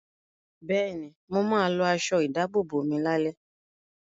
Bẹ́ẹ̀ni, mo ma lọ aṣọ ìdábòbò mi lálẹ́